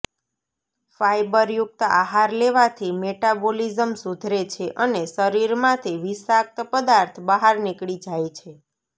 ફાયબરયુક્ત આહાર લેવાથી મેટાબોલિઝમ સુધરે છે અને શરીરમાંથી વિષાક્ત પદાર્થ બહાર નીકળી જાય છે